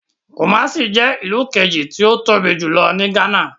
Kumasi je ilu keji ti o tobi julo ni Ghana.